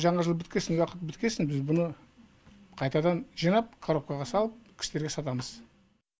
жаңа жыл біткесін уақыт біткесін біз бұны қайтадан жинап коробкаға салып кісілерге сатамыз